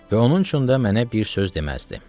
Və onun üçün də mənə bir söz deməzdi.